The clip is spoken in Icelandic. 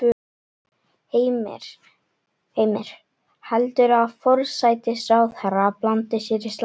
Heimir: Heldurðu að forsætisráðherra blandi sér í slaginn?